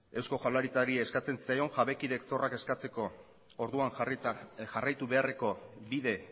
eusko jaurlaritzari eskatzen zitzaion jabekideek zorrak eskatzeko orduan jarraitu beharreko bide